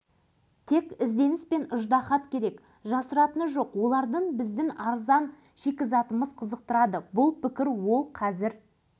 бірақ шетелдіктердің ұсынысын өзімізге керекті тұрғыда екшеп ала білсек ұтарымыз көп деген екен